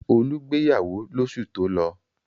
Olú gbéyàwó lóṣù tó lọ?